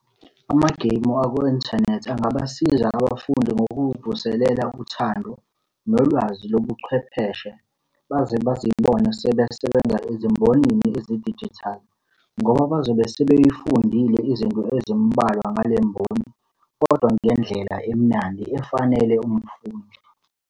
Amageyimu aku-inthanethi angabasiza abafundi ngokuvuselela uthando nolwazi lobuchwepheshe. Baze bazibone sebesebenza ezimbonini ezidijithali, ngoba bazobe sebeyifundile izinto ezimbalwa ngale mboni, kodwa ngendlela emnandi efanele umfundi.